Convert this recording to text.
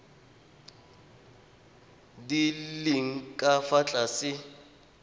di leng ka fa tlase